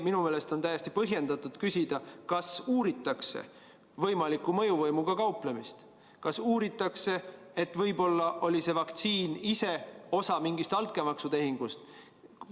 Minu meelest on täiesti põhjendatud küsida, kas uuritakse võimalikku mõjuvõimuga kauplemist, kas uuritakse, et võib-olla oli see vaktsiin osa mingist altkäemaksutehingust.